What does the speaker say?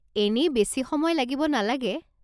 এনেই বেছি সময় লাগিব নালাগে।